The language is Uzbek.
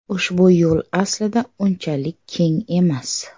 Ushbu yo‘l aslida unchalik keng emas.